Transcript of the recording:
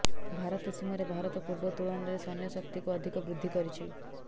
ଭାରତ ସୀମାରେ ଭାରତ ପୂର୍ବ ତୂଳନାରେ ସୈନ୍ୟ ଶକ୍ତିକୁ ଅଧିକ ବୃଦ୍ଧି କରିଛି